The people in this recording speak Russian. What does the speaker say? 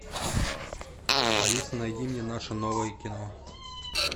алиса найди мне наше новое кино